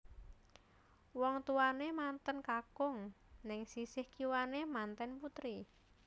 Wong tuwane manten kakung neng sisih kiwane manten putri